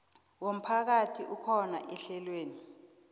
womphakathi akhona ehlelweni